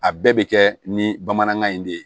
A bɛɛ bɛ kɛ ni bamanankan in de ye